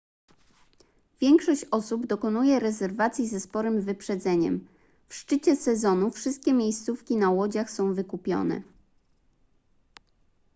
większość osób dokonuje rezerwacji ze sporym wyprzedzeniem w szczycie sezonu wszystkie miejscówki na łodziach są wykupione